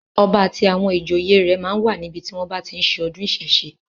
Ọba àti àwọn ìjòyè rẹ̀ máa ń wà níbi tí wọ́n bá tí ń ṣe ọdún ìsẹ̀ṣe.